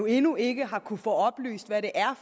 endnu ikke har kunnet få oplyst hvad det er